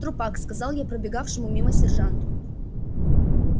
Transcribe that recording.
трупак сказал я пробегавшему мимо сержанту